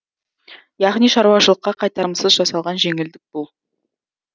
яғни шаруашылыққа қайтарымсыз жасалған жеңілдік бұл